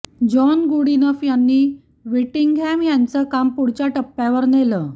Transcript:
John Goodenough यांनी Whittingham यांचं काम पुढच्या टप्प्यावर नेलं